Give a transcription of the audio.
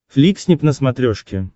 фликснип на смотрешке